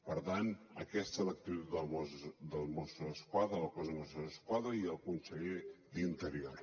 per tant aquesta és l’actitud dels mossos d’esquadra del cos de mossos d’esquadra i el conseller d’interior